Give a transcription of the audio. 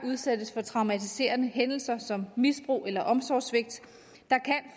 udsættes for traumatiserende hændelser som misbrug eller omsorgssvigt